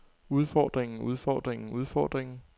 udfordringen udfordringen udfordringen